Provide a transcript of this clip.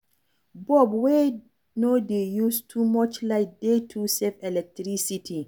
Bulb wey no dey use too much light dey to save electricity